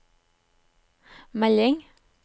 melding